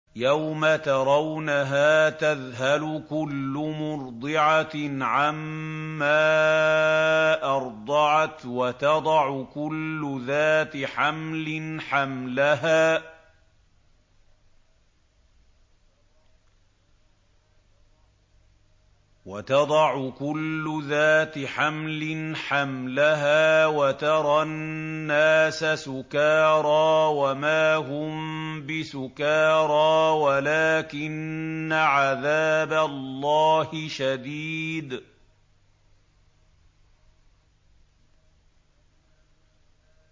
يَوْمَ تَرَوْنَهَا تَذْهَلُ كُلُّ مُرْضِعَةٍ عَمَّا أَرْضَعَتْ وَتَضَعُ كُلُّ ذَاتِ حَمْلٍ حَمْلَهَا وَتَرَى النَّاسَ سُكَارَىٰ وَمَا هُم بِسُكَارَىٰ وَلَٰكِنَّ عَذَابَ اللَّهِ شَدِيدٌ